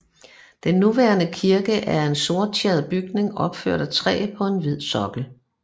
Den nuværende kirke er en sorttjæret bygning opført af træ på en hvid sokkel